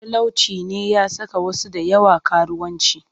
Talauci ne ya saka wasu da yawa karuwanci